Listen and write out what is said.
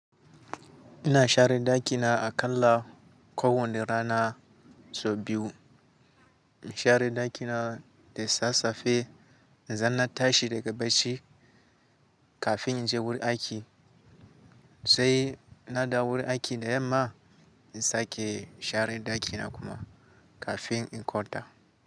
Ina share ɗakina aƙalla kowane rana sau biyu. Inshare ɗakina da sasafe, idan na tashi daga bacci kafin inje wurin aiki. Sai na dawo daiki da yamma, in sake share ɗakina kuma kafin in kwanta.